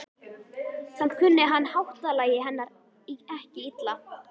Samt kunni hann háttalagi hennar ekki illa.